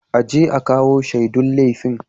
A je a kawo shaidun laifin.